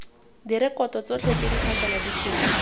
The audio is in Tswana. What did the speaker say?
direkoto tsotlhe tse di phasaladitsweng